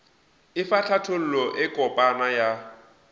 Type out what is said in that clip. efa hlathollo e kopana ya